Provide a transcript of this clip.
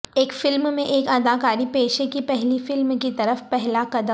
ایک فلم میں ایک اداکاری پیشے کی پہلی فلم کی طرف پہلا قدم